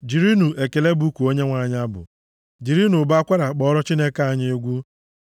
Jirinụ ekele bụkuo Onyenwe anyị abụ; jirinụ ụbọ akwara kpọọrọ Chineke anyị egwu.